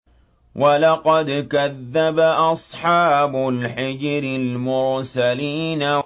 وَلَقَدْ كَذَّبَ أَصْحَابُ الْحِجْرِ الْمُرْسَلِينَ